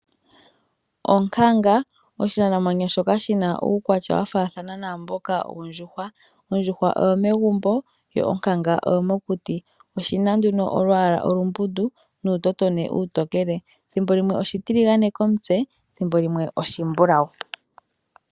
Onkanga oyo oshinamwenyo shoka shina uukwatya wafaathana naamboka wondjuhwa. Ondjuhwa oyo megumbo, yo onkanga oyo mokuti. Oshina nduno olwaala olumbundu, nuutotombi uutokele. Thimbo limwe oshitiligane komutse, thimbo limwe oshimbulawu.